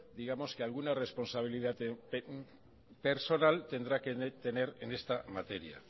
digamos que alguna responsabilidad personal tendrá que tener en esta materia